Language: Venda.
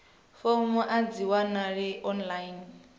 fomo a dzi wanalei online